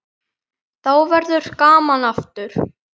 Þá verður gaman aftur.